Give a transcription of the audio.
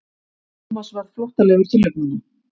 Thomas varð flóttalegur til augnanna.